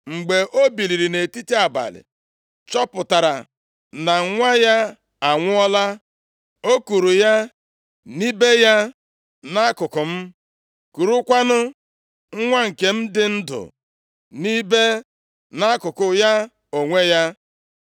Mgbe o biliri nʼetiti abalị, chọpụtara na nwa ya anwụọla, o kuuru ya nibe ya nʼakụkụ m, kurukwanụ nwa nke m dị ndụ nibe nʼakụkụ ya onwe ya.